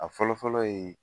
A fɔlɔfɔlɔ ye